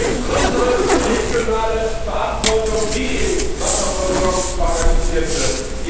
Es ist unsere regionale Verantwortung, wie etwa Wasserversorgung organisiert wird.